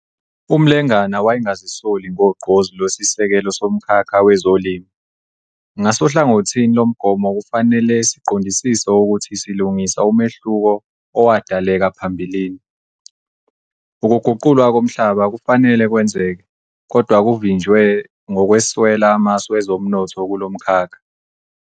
UMlengana wayengazisoli ngogqozi lwesisekelo somkhakha wezolimo- 'Ngasohlangothini lomgomo kufanele siqondisise ukuthi silungisa umehluko owadaleka phambilini'. Ukuguqulwa komhlaba kufanele kwenzeke, kodwa kuvinjiwe ngokweswela amasu ezomnotho kulo mkhakha.